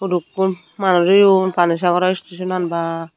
hudukkun manus oyon panisagarw station bwaa.